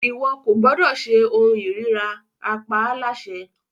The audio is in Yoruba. Iwọ ko gbọdọ ṣe ohun irira! a pa á láṣẹ